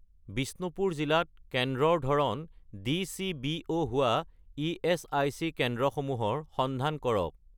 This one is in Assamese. বিষ্ণুপুৰ জিলাত কেন্দ্ৰৰ ধৰণ ডি.চি.বি.ও. হোৱা ইএচআইচি কেন্দ্ৰসমূহৰ সন্ধান কৰক